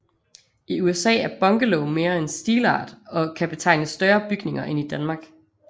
I USA er bungalow mere en stilart og kan betegne større bygninger end i Danmark